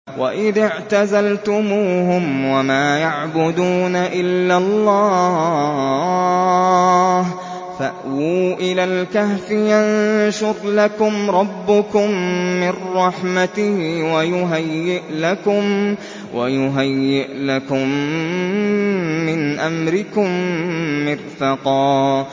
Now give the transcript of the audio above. وَإِذِ اعْتَزَلْتُمُوهُمْ وَمَا يَعْبُدُونَ إِلَّا اللَّهَ فَأْوُوا إِلَى الْكَهْفِ يَنشُرْ لَكُمْ رَبُّكُم مِّن رَّحْمَتِهِ وَيُهَيِّئْ لَكُم مِّنْ أَمْرِكُم مِّرْفَقًا